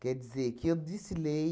Quer dizer, que eu desfilei